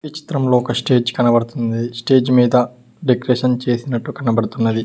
ఈ చిత్రంలో ఒక స్టేజ్ కనబడుతుంది స్టేజ్ మీద డెకరేషన్ చేసినట్టు కనబడుతున్నది.